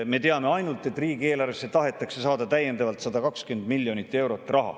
Me teame ainult, et riigieelarvesse tahetakse saada täiendavalt 120 miljonit eurot.